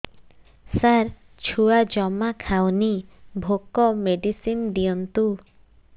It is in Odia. ସାର ଛୁଆ ଜମା ଖାଉନି ଭୋକ ମେଡିସିନ ଦିଅନ୍ତୁ